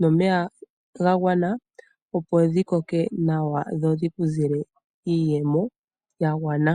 nomeya ga gwana, opo dhi koke nawa dho dhi ku zile iiyemo ya gwana.